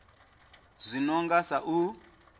zwi no nga sa u